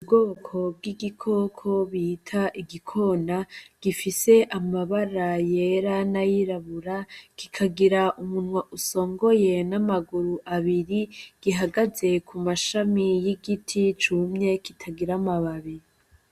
Ubwoko bw'ibikoko bita igikoni gifise amabara yera n'ayirabura, kikagira umunwa usongoye n'amaguru abiri gihagaze ku mashami y'igiti cumye kitagira amababi.